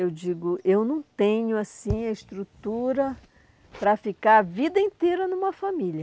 Eu digo, eu não tenho assim a estrutura para ficar a vida inteira numa família.